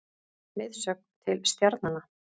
Leiðsögn til stjarnanna.